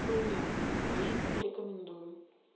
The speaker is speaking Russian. хуйня не рекомендую